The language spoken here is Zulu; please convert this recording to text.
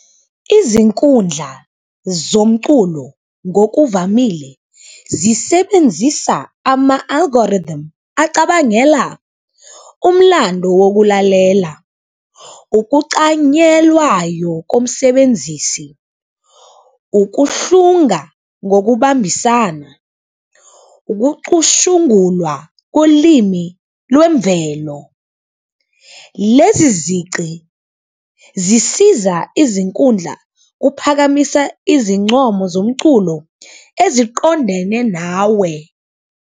Izinkundla zomculo ngokuvamile zisebenzisa ama-algorithm acabangela umlando wokulalela, ukucanyelwayo komsebenzisi, ukuhlunga ngokubambisana, ukucushungulwa kolimi lwemvelo. Lezi izici zisiza izinkundla ukuphakamisa izincomo zomculo eziqondene nawe.